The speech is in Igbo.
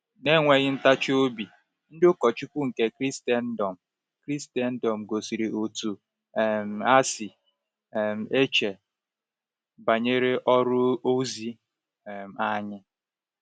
Na-enweghị ntachi obi, ndị ụkọchukwu nke Kraịstndọm Kraịstndọm gosiri otú um ha si um eche banyere ọrụ ozi um anyị.